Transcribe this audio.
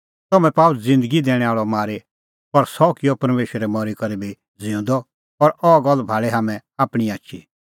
तम्हैं पाअ ज़िन्दगी दैणैं आल़अ मारी पर सह किअ परमेशरै मरी करै भी ज़िऊंदअ और अह गल्ल भाल़ी हाम्हैं आपणीं आछी